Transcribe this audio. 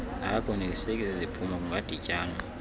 akakoneliseki ziziphumo kungadityanwa